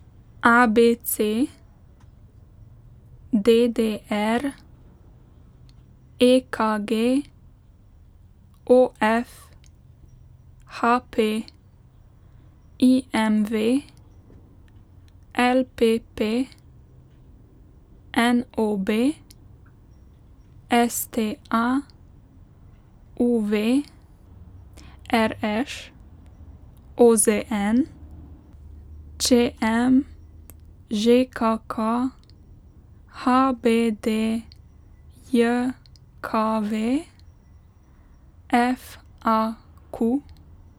A B C; D D R; E K G; O F; H P; I M V; L P P; N O B; S T A; U V; R Š; O Z N; Č M; Ž K K; H B D J K V; F A Q.